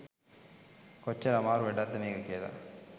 කොච්චර අමාරු වැඩක්ද මේක කියලා.